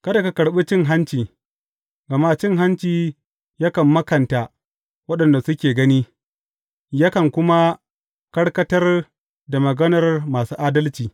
Kada ka karɓi cin hanci, gama cin hanci yakan makanta waɗanda suke gani, yakan kuma karkatar da maganar masu adalci.